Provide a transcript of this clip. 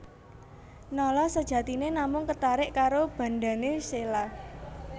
Nala sajatiné namung ketarik karo bandhané Sheila